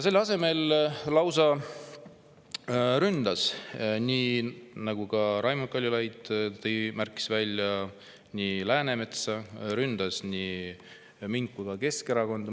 Selle asemel ta lausa ründas, nagu ka Raimond Kaljulaid märkis, Läänemetsa, aga ta ründas ka mind ja Keskerakonda.